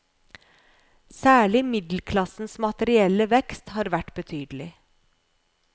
Særlig middelklassens materielle vekst har vært betydelig.